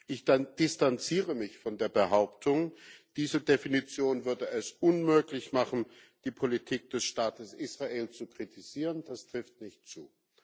Ich distanzierte mich von der Behauptung, diese Definition würde es unmöglich machen, die Politik des Staates Israel zu kritisieren das trifft nicht zu.